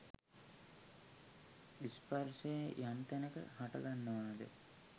ස්පර්ශය යම් තැනක හටගන්නවාද